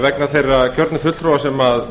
vegna þeirra kjörnu fulltrúa sem